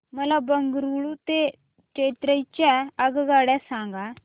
मला बंगळुरू ते चेन्नई च्या आगगाड्या सांगा